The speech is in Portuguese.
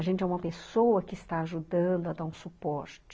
A gente é uma pessoa que está ajudando a dar um suporte.